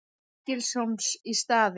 Stykkishólms í staðinn.